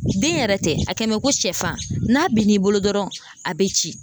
Den yɛrɛ tɛ, a kɛlen mɛ ko sɛfan, n'a bin'i bolo dɔrɔn a bɛ cɛn.